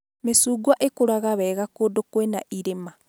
Mĩcungwa ĩkũraga wega kũndũ kwĩna irĩma